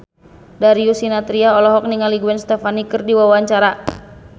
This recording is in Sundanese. Darius Sinathrya olohok ningali Gwen Stefani keur diwawancara